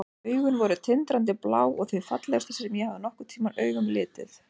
Augun voru tindrandi blá og þau fallegustu sem ég hafði nokkurn tímann augum litið.